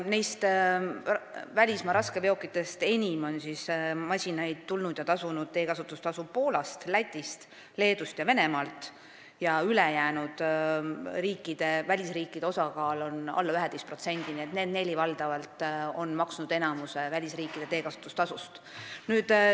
Neist välismaa raskeveokitest enim on masinaid tulnud Poolast, Lätist, Leedust ja Venemaalt ning teiste välisriikide osakaal on alla 11%, seega on need neli maad maksnud enamiku välisriikide veokite teekasutustasust.